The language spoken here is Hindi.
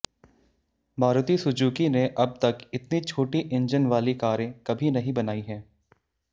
मारुति सुजूकी ने अब तक इतनी छोटी इंजन वाली कारें कभी नहीं बनाई हैं